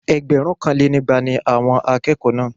Ẹgbẹ̀rúnkanlénígba ni àwọn akẹ́kọ̀ọ́ náà